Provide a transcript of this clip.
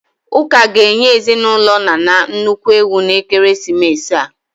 Ụka ga-enye ezinụlọ Nana nnukwu ewu n'ekeresimesi a.